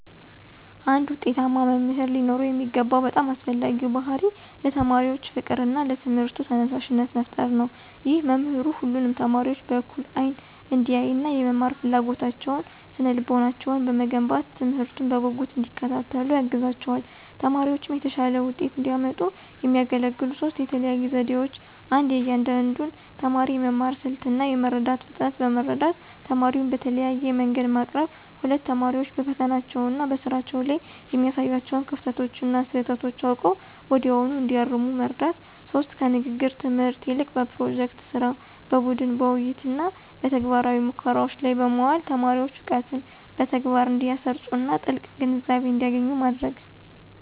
አንድ ውጤታማ መምህር ሊኖረው የሚገባው በጣም አስፈላጊው ባሕርይ ለተማሪዎች ፍቅርና ለትምህርቱ ተነሳሽነት መፍጠር ነው። ይህ መምህሩ ሁሉንም ተማሪዎች በእኩል አይን እንዲያይና፣ የመማር ፍላጎታቸውንና ስነ-ልቦናቸውን በመገንባት፣ ትምህርቱን በጉጉት እንዲከታተሉ ያግዛቸዋል። ተማሪዎችም የተሻለ ውጤት እንዲያመጡ የሚያገለግሉ ሦስት የተለዩ ዘዴዎች 1. የእያንዳንዱን ተማሪ የመማር ስልት እና የመረዳት ፍጥነት በመረዳት፣ ትምህርቱን በተለያየ መንገድ ማቅረብ። 2. ተማሪዎች በፈተናዎችና በስራዎች ላይ የሚያሳዩዋቸውን ክፍተቶችና ስህተቶች አውቀው ወዲያውኑ እንዲያርሙ መርዳት። 3. ከንግግር ትምህርት ይልቅ በፕሮጀክት ሥራ፣ በቡድን ውይይትና በተግባራዊ ሙከራዎች ላይ በማዋል ተማሪዎች እውቀትን በተግባር እንዲያሰርፁና ጥልቅ ግንዛቤ እንዲያገኙ ማድረግ።